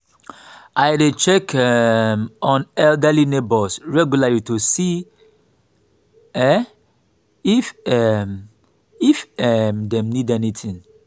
i dey check um on elderly neighbors regularly to see um if um if um dem need anything.